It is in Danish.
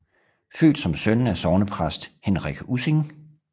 Født som søn af sognepræst Henrich Ussing